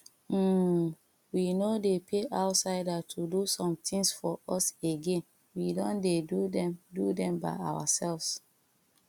um we no dey pay outsider to do somethings for us again we don dey do them do them by ourselves